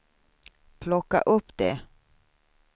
plocka upp det